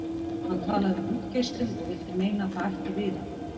Hann talaði um útgeislun og vildi meina að það ætti við hana.